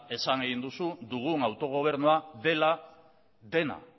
esan duzu dugun autogobernua dela dena